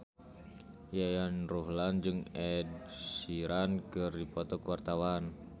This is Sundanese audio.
Yayan Ruhlan jeung Ed Sheeran keur dipoto ku wartawan